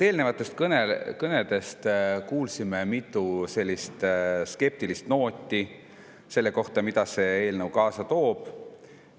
Eelnevatest kõnedest kuulsime mitut skeptilist nooti selle kohta, mida see eelnõu kaasa toob.